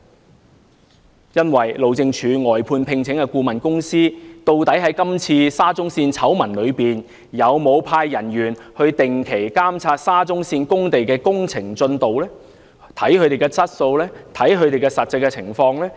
在今次沙中線醜聞中，路政署聘請的外判顧問公司究竟有否派員定期監察沙中線工地的工程進度、質素及實際情況？